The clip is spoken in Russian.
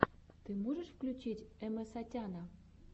ты можешь включить эмэсатяна